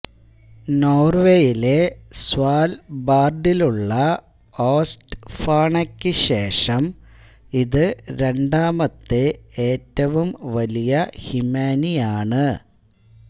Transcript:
നോർവെയിലെ സ്വാൽബാർഡിലുള്ള ഓസ്റ്റ്ഫോണായ്ക്കു ശേഷം ഇത് രണ്ടാമത്തെ ഏറ്റവും വലിയ ഹിമാനിയാണ്